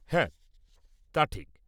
হ্যাঁ, তা ঠিক!